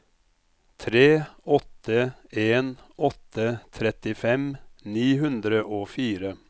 tre åtte en åtte trettifem ni hundre og fire